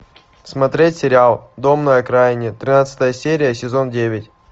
смотреть сериал дом на окраине тринадцатая серия сезон девять